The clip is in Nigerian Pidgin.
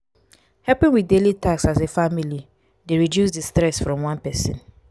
helping with daily taks as a family dey reduce di stress from one person